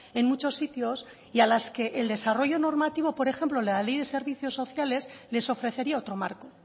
en muchos sitios y a las que el desarrollo normativo por ejemplo de la ley de servicios sociales les ofrecería otro marco